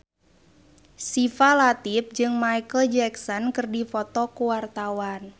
Syifa Latief jeung Micheal Jackson keur dipoto ku wartawan